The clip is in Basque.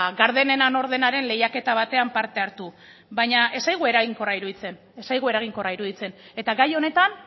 gardenena nor denaren lehiaketa batean parte hartu baina ez zaigu eraginkorra iruditzen eta gai honetan